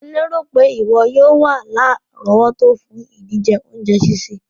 Mo lérò pé ìwo yio wa lárọ̀wọ́tó fùn ìdíje ounje sísè